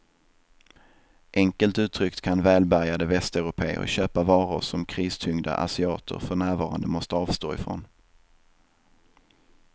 Enkelt uttryckt kan välbärgade västeuropéer köpa varor som kristyngda asiater för närvarande måste avstå ifrån.